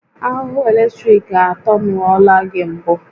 Ahụhụ eletrik atanuola gị mbụ?